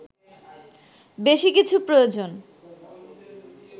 বেশি কিছু প্রয়োজন